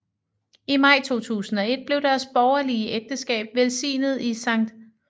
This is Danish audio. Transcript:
I maj 2001 blev deres borgerlige ægteskab velsignet i Skt